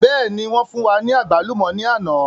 Bẹ́ẹ̀ni wọn fún wa ní àgbálùmọ̀ ni àná